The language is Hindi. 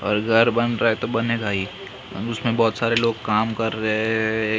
और घर बन रहा है तो बनेगा ही और उसमें बहुत सारे लोग काम कर रहे एक बंदा--